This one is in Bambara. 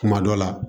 Kuma dɔ la